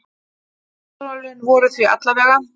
Samtölin voru því alla vega.